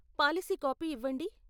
Policy copy ఇవ్వండి.